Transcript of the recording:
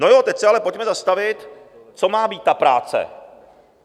No jo, teď se ale pojďme zastavit, co má být ta práce.